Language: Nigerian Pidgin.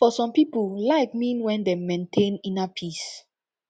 for some pipu life mean when dem maintain inner peace